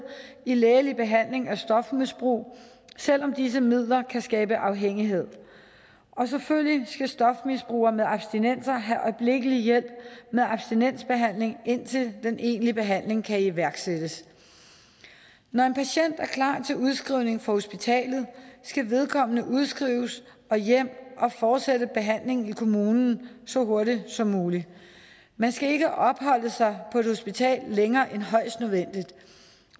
i en lægelig behandling af stofmisbrug selv om disse midler kan skabe afhængighed selvfølgelig skal stofmisbrugere med abstinenser have øjeblikkelig hjælp med abstinensbehandling indtil den egentlige behandling kan iværksættes når en patient er klar til udskrivning fra hospitalet skal vedkommende udskrives og hjem og fortsætte behandlingen i kommunen så hurtigt som muligt man skal ikke opholde sig på et hospital længere end højst nødvendigt